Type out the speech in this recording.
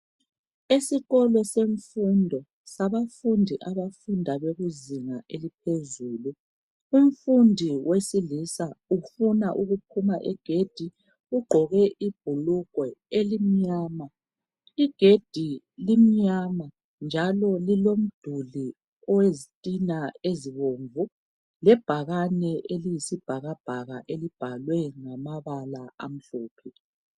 Esikolo semfundo sabafundi abafunda bekuzinga eliphezulu .Umfundi wesilisa ufuna ukuphuma igedi ugqoke ibhulugwe elimnyama .Igedi limnyama njalo lilo mduli owezitina ezibomvu lebhakane eliyisibhakabhaka elibhalwe ngamabala amhlophe .